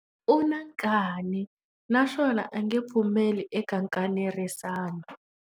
U na nkani naswona a nge pfumeli eka nkanerisano.